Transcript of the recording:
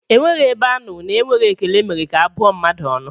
Enweghị ebe a nụrụ na ekweghị ekele mere ka a bụọ mmadụ ọnụ